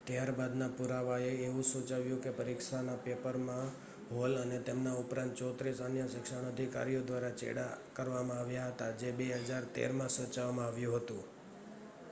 ત્યાર બાદનાં પુરાવાંએ એવું સૂચવ્યું કે પરીક્ષાના પેપરમાં હૉલ અને તેમના ઉપરાંત 34 અન્ય શિક્ષણ અધિકારીઓ દ્વારા ચેડાં કરવામાં આવ્યા હતા, જે 2013 માં સૂચવવામાં આવ્યું હતું